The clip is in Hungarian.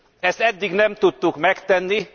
Ezt eddig nem tudtuk megtenni.